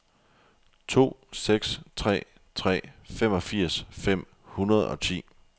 to seks tre tre femogfirs fem hundrede og ti